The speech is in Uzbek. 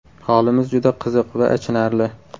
Holimiz juda qiziq va achinarli.